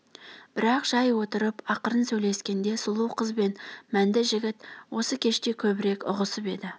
бірақ жай отырып ақырын сөйлескенде сұлу қыз бен мәнді жігіт осы кеште көбірек ұғысып еді